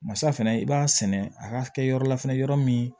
Masa fɛnɛ i b'a sɛnɛ a ka kɛ yɔrɔ la fɛnɛ yɔrɔ min